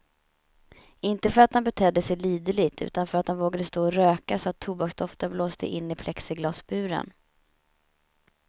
Inte för att han betedde sig liderligt, utan för att han vågade stå och röka så att tobaksdoften blåste in i plexiglasburen.